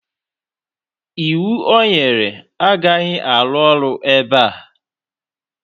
iwu o nyere agaghị arụ ọrụ ebe a